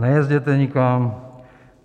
Nejezděte nikam!